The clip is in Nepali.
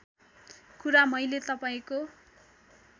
कुरा मैले तपाईँको